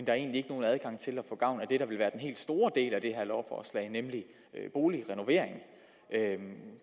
er egentlig ikke nogen adgang til at få gavn af det der vil være den helt store del af det her lovforslag nemlig boligrenovering